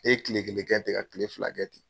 Ne ye kile kelen kɛ ten, ka kile fila kɛ ten.